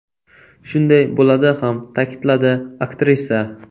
Shunday bo‘ladi ham”, ta’kidladi aktrisa.